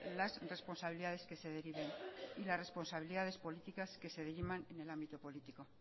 las responsabilidades que se deriven y las responsabilidades políticas que se diriman en el ámbito político